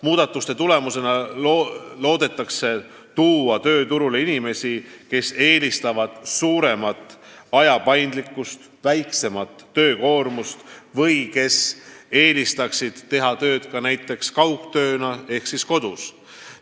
Muudatuste tulemusena loodetakse tuua tööturule inimesi, kes eelistavad suuremat võimalust valida töö tegemise aega, väiksemat töökoormust või võimalust teha tööd näiteks kaugtööna ehk siis kodus.